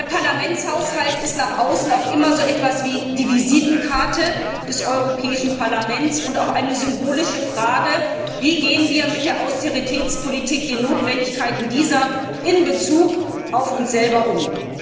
Der Parlamentshaushalt ist nach außen auch immer so etwas wie die Visitenkarte des Europäischen Parlaments und auch eine symbolische Frage Wie gehen wir mit der Austeritätspolitik den Notwendigkeiten dieser Politik in Bezug auf uns selbst um?